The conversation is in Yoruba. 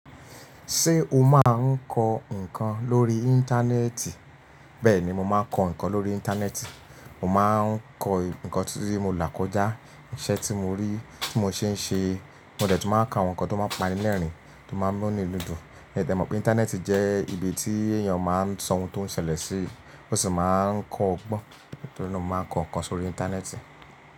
Ṣé o máa ń kọ ǹkan lórí Íńtánẹ́ẹ̀tì? Bẹ́ẹ̀ ni, mo máa ń kọ ǹkan lórí Íńtánẹ́ẹ̀tì. Mo má ń kọ ǹkan tí mo là kọjá, iṣẹ́ tí mo rí, tí mo ṣe ń ṣe. Mo dè tún máa kọ àwọn ǹkan tó máa ń pa ni lẹ́rìn, tó máa ń mú inu mi dun. Ẹ dẹ̀ mọ̀ pé Íńtánẹ́ẹ̀tì jẹ́ ibi tí èèyàn máa ń sọ ohun tó ń ṣẹlẹ̀ sí, ó sì máa ń kọ́ ogbọ́n. Nítorí náà mo máa ń kọ ǹkan sórí Íńtánẹ́ẹ̀tì.